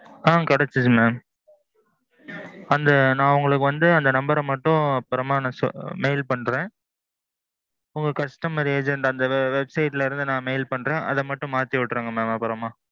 ஆ ஆ கெடைச்சது mam. அந்த. நான் உங்களுக்கு வந்து அந்த number ர மட்டும் அப்பறமா நான் mail பன்றேன். உங்க customer agent அந்த website ல இருந்து நான் mail பன்றேன். அத மட்டும் மாத்தி உட்டுருங்க mam அப்பரோமா.